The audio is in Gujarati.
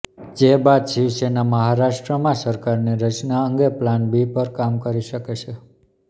જે બાદ શિવસેના મહારાષ્ટ્રમાં સરકારની રચના અંગે પ્લાન બી પર કામ શરૂ કરી શકે છે